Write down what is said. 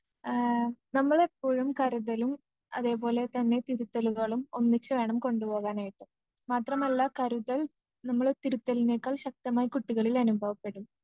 ആ നമ്മളെപ്പോഴും കരുതലും അതേപോലെതന്നെ തിരുത്തലുകളും ഒന്നിച്ചുവേണം കൊണ്ടുപോകാനായിട്ട്.മാത്രമല്ല കരുതൽ നമ്മള് തിരുത്തലിനേക്കാൾ ശക്തമായി കുട്ടികളിൽ അനുഭവപ്പെടും